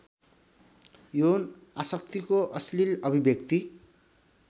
यौनआशक्तिको अश्लील अभिव्यक्ति